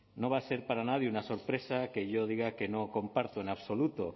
no va a ser para nadie una sorpresa que yo diga que no comparto en absoluto